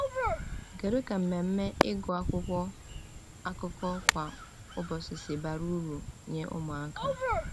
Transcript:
Kedu ka mmemme ịgụ akwụkwọ akụkọ kwa ụbọchị si bara uru nye ụmụaka?